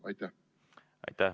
Aitäh!